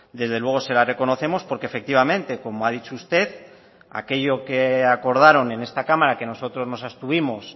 desde luego se la reconocemos porque efectivamente como ha dicho usted aquello que acordaron en esta cámara que nosotros nos abstuvimos